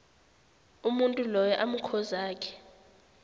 umuntu loyo amkhozakhe